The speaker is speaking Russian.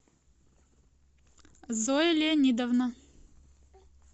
зоя леонидовна